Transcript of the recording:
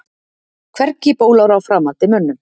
Hvergi bólar á framandi mönnum.